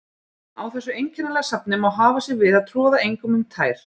Á þessu einkennilega safni má hafa sig við að troða engum um tær.